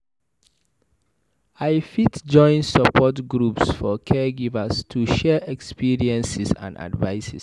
I fit join support groups for caregivers to share experiences and advice.